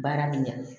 Baara bɛ ɲa